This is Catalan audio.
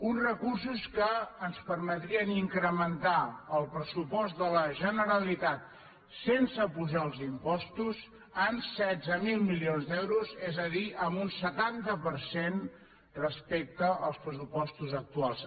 uns re cursos que ens permetrien incrementar el pressupost de la generalitat sense apujar els impostos en setze mil milions d’euros és a dir en un setanta per cent respecte als pressupostos actuals